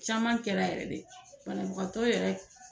Caman kɛra yɛrɛ de banagantɔ yɛrɛ